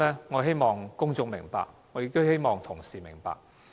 我希望公眾明白這點，我亦希望同事明白。